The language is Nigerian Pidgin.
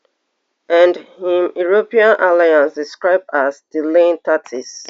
and im european allies describe as delaying tactics